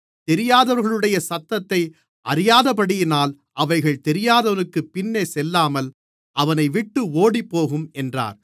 தெரியாதவர்களுடைய சத்தத்தை அறியாதபடியினால் அவைகள் தெரியாதவனுக்குப் பின்னே செல்லாமல் அவனைவிட்டு ஓடிப்போகும் என்றார்